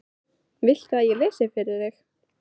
Viltu að ég lesi fyrir þig?